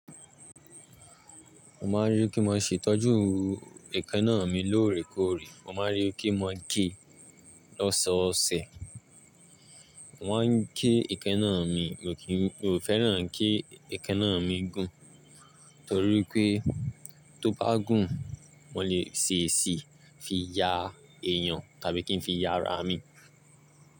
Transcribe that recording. Mo máa rí kí wọ́n ṣe ìtọ́jú ẹkannáà mi lóòrèkóòrè. Mo máa rí kí wọ́n gé lọ́sọọ̀ọ̀sẹ̀. Wọ́n ń gé ẹkẹ náà mi, mo kì í, mo féràn kí ẹkẹ náà mi gùn. Torí pé tó bá gùn, wọn lè ṣe èsì fi yà èèyàn tàbí kí ń fi yá ara mi.